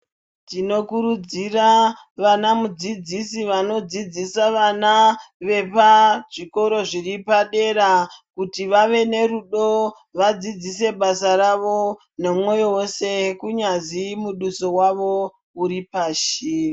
Tinokurudzira vanamudzidzisi vanodzidzisa vana vepazvikoro zviripadera kuti vave nerudo vadzidzise basa ravo nemoyo wese kunyazwi muduso wavo uripasi.